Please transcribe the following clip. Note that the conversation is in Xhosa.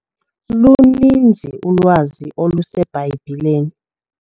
Luninzi ulwazi oluseBhayibhileni.